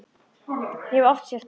Ég hef oft sagt þér það.